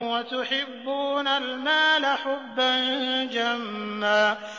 وَتُحِبُّونَ الْمَالَ حُبًّا جَمًّا